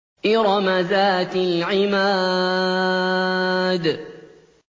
إِرَمَ ذَاتِ الْعِمَادِ